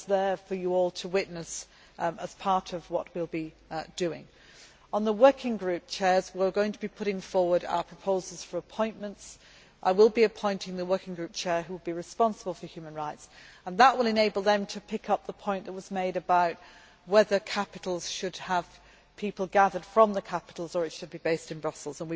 It is there for you all to witness as part of what we will be doing. On the working group chairs, we are going to put forward our proposals for appointments. I will be appointing the working group chair who will be responsible for human rights, and that will enable them to pick up the point that was made about whether capitals should have people gathered from the capitals or whether it should be based in Brussels.